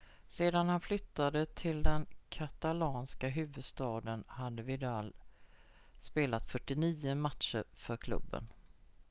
sedan han flyttade till den katalanska huvudstaden hade vidal spelat 49 matcher för klubben